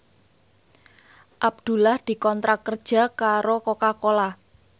Abdullah dikontrak kerja karo Coca Cola